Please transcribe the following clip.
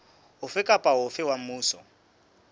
ofe kapa ofe wa mmuso